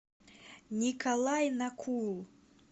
николай накул